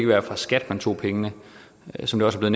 være fra skat man tog pengene som det også er